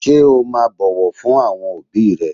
Ṣé o máa bọ̀wọ̀ fún àwọn òbíì rẹ?